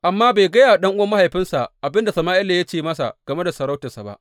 Amma bai gaya wa ɗan’uwan mahaifinsa abin da Sama’ila ya ce game da sarauta ba.